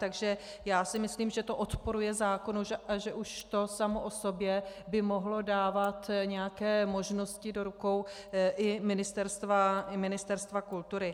Takže já si myslím, že to odporuje zákonu, že už to samo o sobě by mohlo dávat nějaké možnosti do rukou i Ministerstva kultury.